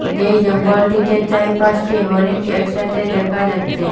যেই জঙ্গলটিতে চার পাঁচটি হরিণ একসাথে দেখা যাচ্ছে।